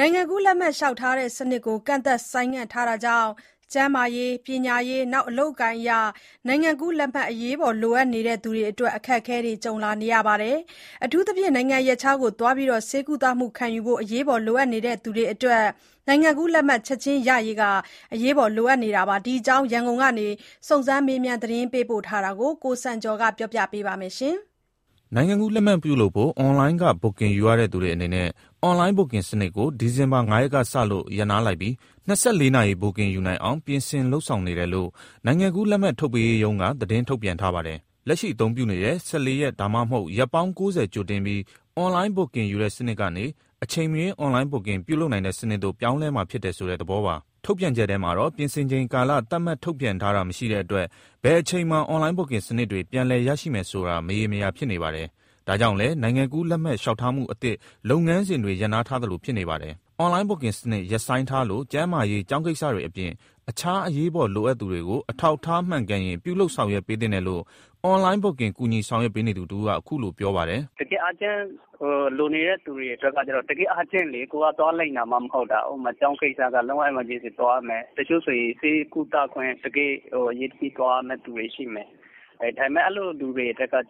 နိုင်ငံကူးလက်မှတ် လျှောက်ထားတဲ့စနစ် ကန့်သတ်ဆိုင်းငံ့ထားမှုကြောင့် ကျန်းမာရေး၊ ပညာရေးနဲ့အလုပ်အကိုင်အရ နိုင်ငံကူးလက်မှတ် အရေးပေါ်လိုအပ်နေသူတွေအတွက် အခက်ကြုံလာရပါတယ်။ အထူးသဖြင့် နိုင်ငံရပ်ခြားဆေးကုသမှုယူဖို့ အရေးပေါ်လိုအပ်သူတွေအတွက် နိုင်ငံကူးလက်မှတ်ချက်ခြင်းရရေး လိုအပ်တာပါ။ ဒီအကြောင်း ရန်ကုန်ကနေ စုံစမ်းမေးမြန် သတင်းပေးပို့ထားတာကို ကိုစံကျော်က တင်ပြပေးထားပါတယ်။ နိုင်ငံကူးလက်မှတ်လုပ်ဖို့ Online Booking ယူပြီးဆောင်ရွက်တဲ့စနစ်ကို ဒီဇင်ဘာ ၅ ရက် ကစလို့ ရပ်နားလိုက်ပြီး Online ကနေ Booking ယူသူတွေအနေနဲ့ ၂၄ နာရီ Booking ယူနိုင်အောင် ပြင်ဆင်လုပ်ဆောင်နေတယ်လို့ နိုင်ငံကူးလက်မှတ်ထုတ်ပေးရေးရုံးက သတင်းထုတ်ပြန်ထားပါတယ်။ လက်ရှိအသုံးပြုနေတဲ့ ၁၄ ရက် ဒါမှမဟုတ် ရက် ပေါင်း ၉၀ ကြိုတင်ပြီး Online Booking ယူတဲ့စနစ်ကနေ အချိန်မရွေး Online Booking ပြုလုပ်နိုင် တဲ့စနစ်ကို ပြောင်းလဲမှာဖြစ်တယ်ဆိုတဲ့သဘောပါ။ ထုတ်ပြန်ချက်ထဲမှာတော့ ပြင်ဆင်ချိန် ကာလ သတ်မှတ်ထုတ်ပြန်ထားတာမရှိတဲ့အတွက် ဘယ်အချိန်မှာ Online Booking စနစ်တွေ ပြန်လည် ရရှိမယ်ဆိုတာ မရေမရာဖြစ်နေပါတယ်။ ဒါကြောင့်လည်း နိုင်ငံကူးလက်မှတ်လျှောက်ထားမှုအသစ် လုပ်ငန်းစဉ်တွေရပ်ထားသလိုဖြစ်နေပါတယ်။ Online Booking စနစ်ရပ်ဆိုင်းထားလို့ ကျန်းမာရေး၊ ကျောင်းကိစ္စတွေအပြင် အခြား အရေးပေါ်လိုအပ်သူတွေကို အထောက်အထားမှန်ကန်ရင် ပြုလုပ်ဆောင်ရွက်ပေးသင့်တယ်လို့ Online Booking ကူညီဆောင်ရွက်ပေးနေသူတဦးက အခုလို ပြောပါတယ်။ “တကယ့် အားချင်းလိုနေတဲ့သူတွေအတွက်ကတော့ ကိုယ်ကသွားလိမ်တာမှ မဟုတ်တာ။ ကျောင်းကိစ္စသွားရမယ်။ တချို့ဆိုရင် ဆေးကုသခွင့် တကယ့်အရေးတကြီးသွားရမယ့်သူတွေရှိမယ်။ အဲ့လိုလူတွေအတွက်က လိုအပ်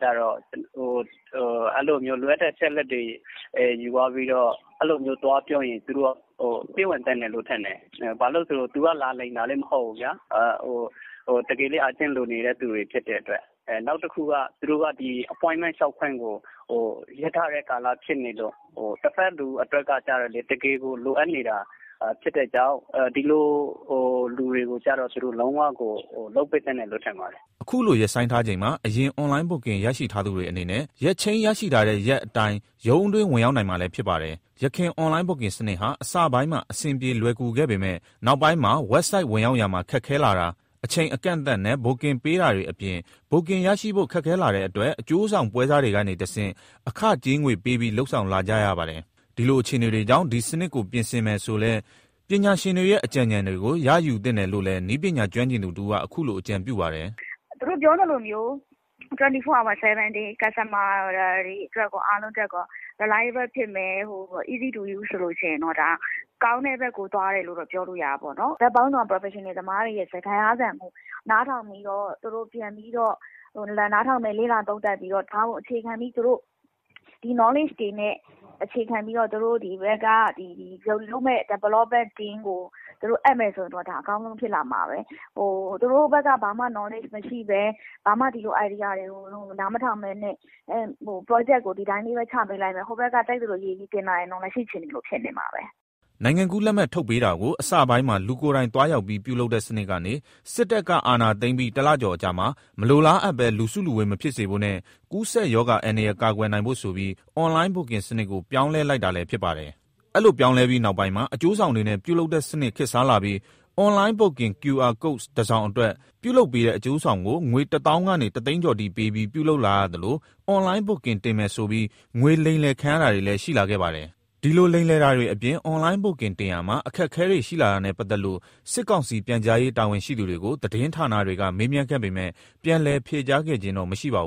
တဲ့အချက်အလက်တွေ ယူသွားပြီး သွားပြောရင် သူတို့က ပေးဝင်သင့်တယ်လို့ထင်တယ်။ ဘာလို့ဆို သူက လာလိမ်တာလည်း မဟုတ်ဘူးလေ။ တကယ်လည်း လိုအပ်နေသူတွေဖြစ်တဲ့အတွက်၊ နောက်တခုက Appointment လျှောက်ခွင့်ကို ရပ်ထားတဲ့ကာလဖြစ်နေလို့ တဖက်လူအတွက်က တကယ်ကို လိုအပ်တာ ဖြစ်နေလို့ ဒီလိုလူတွေကိုကြတော့ သူတို့ လုပ်ကို လုပ်ပေးသင့်တယ်လို့ထင်ပါတယ်။” အခုလို ရပ်ဆိုင်းထားချိန်မှာ အရင် Online Booking ရရှိထားသူတွေအနေနဲ့ ရက်ချိန်းရရှိထားတဲ့ရက်အတိုင်း ရုံးအတွင်း ဝင်ရောက်နိုင်မှာလည်း ဖြစ်ပါတယ်။ ယခင် Online Booking စနစ်ဟာ အစပိုင်းမှာ အဆင်ပြေလွယ်ကူခဲ့ပေမယ့် နောက်ပိုင်းမှာ WebSite ဝင်ရောက်ရာမှာ ခက်ခဲလာတာ၊ အချိန်အကန့်အသတ်နဲ့ Booking ပေးတာတွေအပြင် Booking ရရှိဖို့ ခက်ခဲလာတဲ့အတွက် အကျိုးဆောင်ပွဲစားတွေကနေတဆင့် အခကြေးငွေ ပေးပြီး လုပ်ဆောင်လာကြရပါတယ်။ ဒီလိုအခြေအနေတွေကြောင့် ဒီစနစ်ကို ပြင်ဆင်မယ်ဆိုလည်း ပညာရှင်တွေရဲ့ အကြံဉာဏ်တွေကိုလည်း ရယူသင့်တယ်လို့လည်း နည်းပညာကျွမ်းကျင်သူတဦးက အခုလို အကြံပြုပါတယ်။ “သူတို့ပြောသလိုမျိုး 24 Hour/7 days customers တွေအားလုံးအတွက် Reliable ဖြစ်မယ်၊ easy to use ဆိုရင် ဒါက ကောင်းတဲ့ဘက်ကို သွားတယ်လို့ ပြောလို့ရတာပေါ့။ ဘက်ပေါင်းစုံက Professional တွေရဲ့ စကားသံကို နားထောင်ပြီးတော့ သူတို့ပြန်ပြီး နားထောင်မယ် လေ့လာသုံးသပ်မယ်။ ဒါကိုအခြေခံပြီးသူတို့ ဒီ Knowledge တွေနဲ့ သူတို့လုပ်မယ့် Development team ကို အပ်မယ်ဆိုရင် သူတို့ အကောင်းဆုံး ဖြစ်လာမှာပဲ။ သူတို့ ဘက်က ဘာမှ Knowledge မရှိဘဲ၊ ဘာမှ ဒီလိုအကြံဉာဏ်တွေကို နားမထောင်ဘဲ Project ကို ဒီအတိုင်းလေးပဲ ချပေးလိုက်မယ်။ ဟိုဘက်ကလည်း ကြိုက်သလိုရေးပြီးတင်လာရင် ဖြစ်ချင်သလို ဖြစ်နေမှာ။” နိုင်ငံကူး လက်မှတ်ထုတ်ပေးတာကို အစပိုင်းမှာ လူကိုယ်တိုင်သွားရောက်ပြီး ပြုလုပ်တဲ့စနစ်ကနေ စစ်တပ်က အာဏာသိမ်းပြီး ၁ လကျော်အကြာမှာ မလိုလားအပ်ဘဲ လူစုလူဝေး မဖြစ်စေဖို့နဲ့ ကူးစက်ရောဂါအန္တရာယ်ကာကွယ်နိုင်ဖို့ဆိုပြီး Online Booking စနစ်ကို ပြောင်းလဲလိုက်တာလည်းဖြစ်ပါတယ်။ အဲ့လိုပြောင်းလဲပြီးနောက်ပိုင်းမှာ အကျိုးဆောင်တွေနဲ့ ပြုလုပ်တဲ့စနစ်ခေတ်စားလာပြီး Online Booking QR Code တစောင်အတွက် ပြုလုပ်ပေးတဲ့ အကျိုးဆောင်ကို ငွေ ၁ သောင်းကနေ ၁ သိန်းကျော်အထိ ပေးပြီး ပြုလုပ်လာရသလို Online Booking တင်ပေးမယ်ဆိုပြီး ငွေလိမ်လည်ခံရတာတွေလည်း ရှိလာခဲ့ပါတယ်။ ဒီလို လိမ်လည်တာတွေအပြင် Online Booking တင်ရာမှာ အခက်အခဲတွေရှိလာတာနဲ့ပတ်သက်လို့ စစ်ကောင်စီပြန်ကြားရေး တာဝန်ရှိသူတွေကို သတင်းဌာနတွေက မေးမြန်းခဲ့ပေမယ့် ပြန်လည်ဖြေကြားခဲ့ခြင်းတော့မရှိပါဘူး။